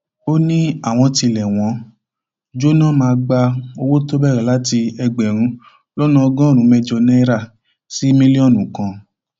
ó ní àwọn tílé wọn jóná máa gba owó tó bẹrẹ láti ẹgbẹrún lọnà ọgọrùnún mẹjọ náírà sí mílíọnù kan